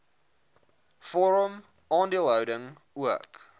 vorm aandeelhouding ook